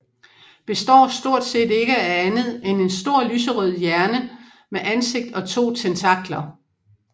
Består stort set ikke af andet end en stor lyserød hjerne med ansigt og to tentakler